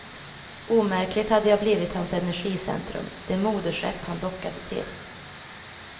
Omärkligt hade jag blivit hans energicentrum, det moderskepp han dockade till.